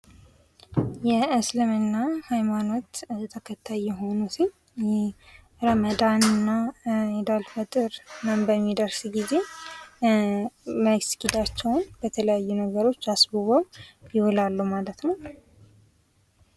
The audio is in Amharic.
የእስልምና ሃይማኖት ተከታይ የሆነ ሰው የረመዳን እና ኢድ አልፈጥር በሚደርስ ጊዜ መስጊዳቸውን በተለያየ ነገሮች አስበው ይውላሉ ማለት ነው።